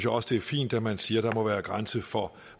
også det er fint at man siger at der må være en grænse for